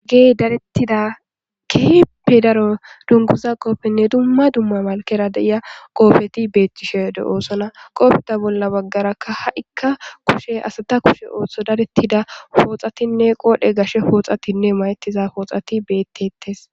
Gey darettida keheppi daro dunguza qoofenne dumma dumma malkera deiya qoofeti beettishe de7oosona qoofeta bolla baggarakka ha7ikka kushe asata kushe ooththo darettida pooxatinne qoodhe gashe pooxatinne mayettiza pooxati bettettes